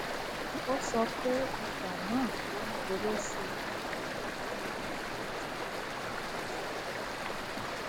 o sọpe ọjà na òun gbòrò sì ni ọjọ ojúmọ nítorí ìdí tó pò